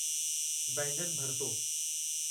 बैंगन भरतो